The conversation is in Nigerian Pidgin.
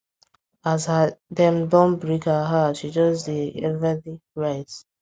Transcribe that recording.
as her dem don break her heart she just dey dey everly write